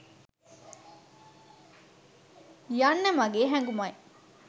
යන්න මගේ හැගුමයි